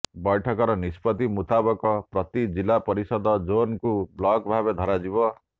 ବୈଠକର ନିଷ୍ପତ୍ତି ମୁତାବକ ପ୍ରତି ଜିଲ୍ଲା ପରିଷଦ ଜୋନ୍କୁ ବ୍ଲକ ଭାବେ ଧରାଯିବ